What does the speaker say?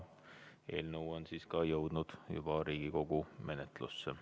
Eelnõu on ka jõudnud juba Riigikogu menetlusse.